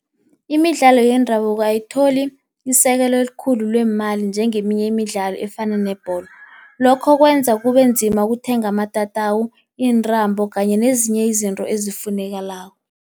Imidlalo yendabuko ayitholi isekelo elikhulu leemali njengeminye imidlalo efana nebholo. Lokho kwenza kube nzima ukuthenga amatatawu iintambo, kanye nezinye izinto ezifunekako.